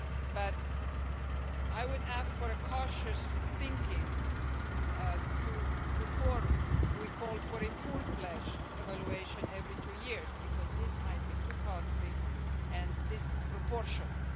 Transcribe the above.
But I would ask for cautious thinking before we call for a fully fledged evaluation every two years because this might be too costly and disproportionate.